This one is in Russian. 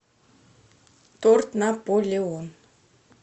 торт наполеон